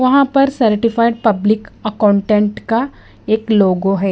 वहां पर certified public accountant का एक लोगों है।